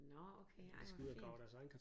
Nåh okay ej hvor fint